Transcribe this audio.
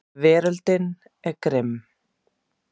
Veröldin er grimm.